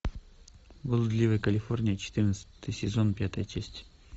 блудливая калифорния четырнадцатый сезон пятая часть